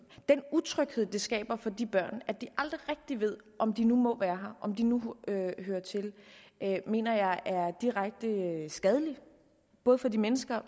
utryghed det skaber for de børn at de aldrig rigtig ved om de nu må være her om de nu hører til her mener jeg er direkte skadelig både for de mennesker og